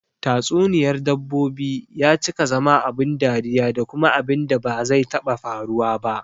Tatsuniyar dabbobi ya cika zama abun dariya da kuma abunda ba zai taɓa faruwa ba